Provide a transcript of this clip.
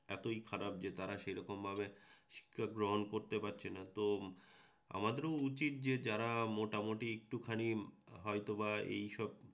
এতই খারাপ যে তারা সেরকম ভাবে শিক্ষা গ্রহণ করতে পারছেনা তো আমাদেরও উচিৎ যে তারা মোটামুটি একটুখানি হয়তো বা এই সব